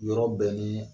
Yɔrɔ bɛɛ ni